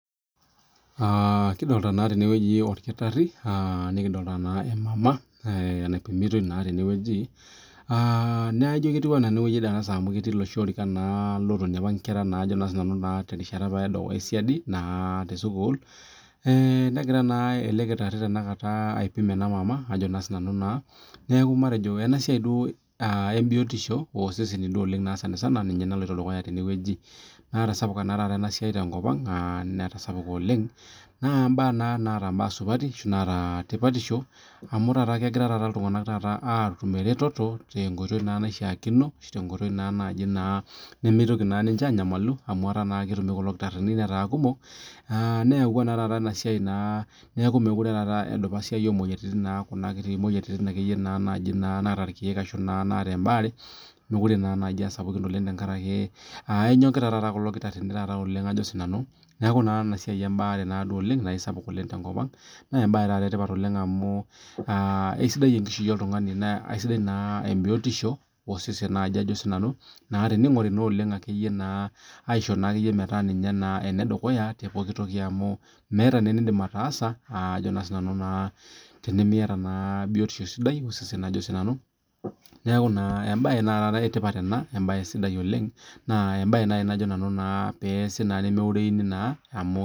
Aa kidolta na tenewueji orkitari nikidolta emama naipimitae tenewueji aa naijo ketiu anaa enaapa woi natonie nkera terishata esiadi aa tesukul negira elekitari aipim enamama neaku matejo enasia nalotu dukuya tenewueji netasapuka enasia tenkopang aa netasapuk oleng naa mbaa naata tipatisho amu tanakata egira ltunganak atum eretoto tenkooitoi naishaakino ashu tenkoitoi nimitoki nimche anyamalu neyawua enasia nemekute nai asapuk ina oleng tenkaraki enyokita nai kulo akitarin na embae embaare esapuk tenkop aang na embae etipat oleng amu esidai enkishui oltungani na esidai tenishori metaa ninye enedukuya meeta enindim ataasa tenimiata biotisho sidai neaku kaidim atejo embae etipat ena embae sidai oleng na embae na peasi na pemeureuni amu.